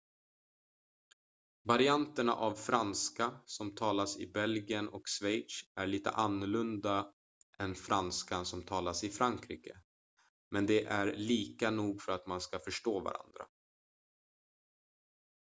varianterna av franska som talas i belgien och schweiz är lite annorlunda än franskan som talas i frankrike men de är lika nog för att man ska förstå varandra